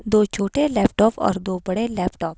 दो छोटे लैपटॉप और दो बड़े लैपटॉप --